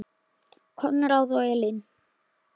Konráð og Elín.